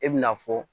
E bɛna fɔ